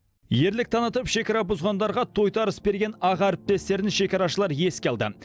ерлік танытып шекара бұзғандарға тойтарыс берген аға әріптестерін шекарашылар еске алды